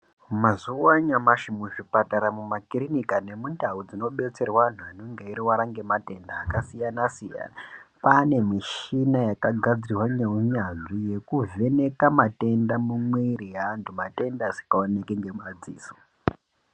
Mazuwa anyamashi muzvipatara, mumakirika nemundau dzinobetserwa antu anenge eirwara nematenda akasiyana -siyana kwane mishina yakagadzirwa neunyanzi yekuvheneka matenda mumwiri yeantu matenda asikaoneki ngemadziso.